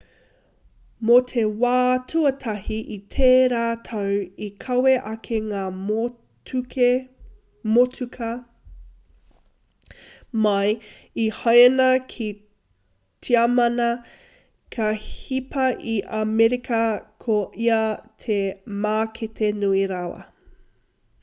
mō te wā tuatahi i tērā tau i kawe ake ngā motuka mai i haina ki tiamana ka hipa i amerika ko ia te mākete nui rawa